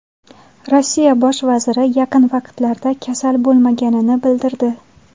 Rossiya bosh vaziri yaqin vaqtlarda kasal bo‘lmaganini bildirdi.